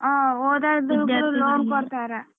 ಹ್ಮ್ ಓದೊದುಕ್ಕು loan ಕೊಡ್ತಾರ .